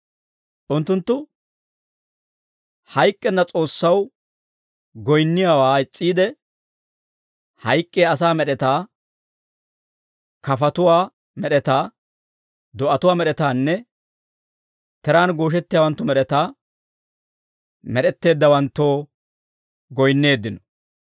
Unttunttu hayk'k'enna S'oossaw goyinniyaawaa is's'iide, hayk'k'iyaa asaa med'etaa, kafatuwaa med'etaa, do'atuwaa med'etaanne tiraan gooshettiyaawanttu med'etaa med'etteeddawanttoo goyinneeddino.